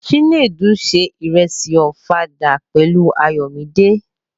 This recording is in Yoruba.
Chinedu se ìrẹsì Ọ̀fadà pẹ̀lú Ayọ̀míde.